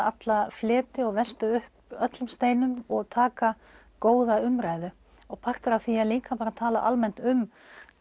alla fleti og velta upp öllum steinum og taka góða umræðu partur af því er líka að tala bara almennt um